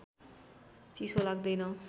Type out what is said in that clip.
चिसो लाग्दैन